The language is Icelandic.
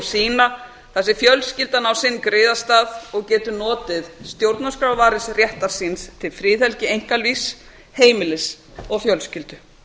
sína þar sem fjölskyldan á sinn griðastað og getur notið stjórnarskrárvarins réttar síns til friðhelgi einkalífs heimilis og fjölskyldu